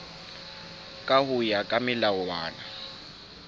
ka ho ya ka melawana